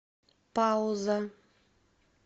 пауза